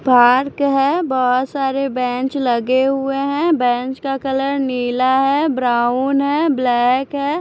Park है बहुत सारे बेंच लगे हुए हैं बेंच का कलर नीला है ब्राउन है ब्लैक है।